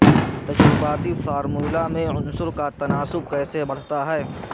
تجرباتی فارمولہ میں عنصر کا تناسب کیسے پڑھتا ہے